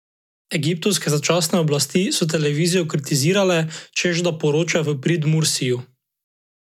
Egiptovske začasne oblasti so televizijo kritizirale, češ da poroča v prid Mursiju.